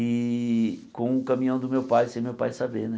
E com o caminhão do meu pai, sem meu pai saber, né?